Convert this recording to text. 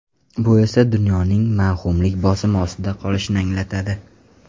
Bu esa dunyoning mavhumlik bosimi ostida qolishini anglatadi.